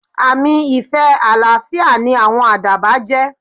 Àmì ìfẹ́ àlàáfíà ni àwọn àdàbà jẹ́.